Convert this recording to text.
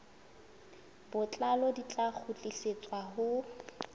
botlalo di tla kgutlisetswa ho